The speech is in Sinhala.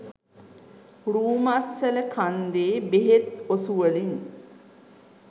රූමස්සල කන්දේ බෙහෙත් ඔසුවලින්